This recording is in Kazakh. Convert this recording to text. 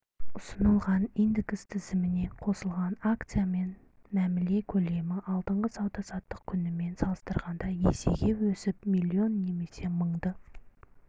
ұсынылған индекс тізіміне қосылған акциямен мәміле көлемі алдыңғы сауда-саттық күнімен салыстырғанда есеге өсіп млн немесе мыңды